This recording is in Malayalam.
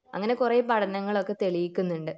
അങ്ങിനെ കൊറേ പഠനങ്ങൾ ഒക്കെ തെളിയിക്കുന്നുണ്ട്